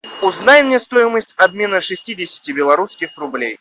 узнай мне стоимость обмена шестидесяти белорусских рублей